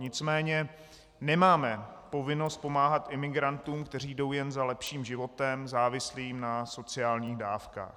Nicméně nemáme povinnost pomáhat imigrantům, kteří jdou jen za lepším životem závislým na sociálních dávkách.